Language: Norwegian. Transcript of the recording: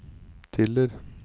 Tiller